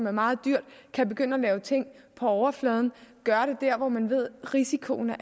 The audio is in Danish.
er meget dyrt kan begynde at lave ting på overfladen og gøre det der hvor man ved risikoen